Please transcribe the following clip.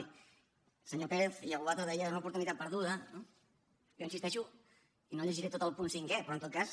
i el senyor pérez i algú altre deia és una oportunitat perduda no i jo hi insisteixo i no llegiré tot el punt cinquè però en tot cas